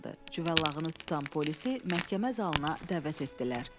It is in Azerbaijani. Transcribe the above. Cüvəllağını tutan polisi məhkəmə zalına dəvət etdilər.